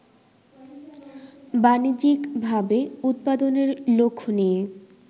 বাণিজ্যিকভাবে উৎপাদনের লক্ষ্য নিয়ে